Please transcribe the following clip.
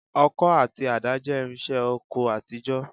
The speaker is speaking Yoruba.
Ọkọ́ àti àdá jẹ́ irinṣẹ́ oko àtijọ́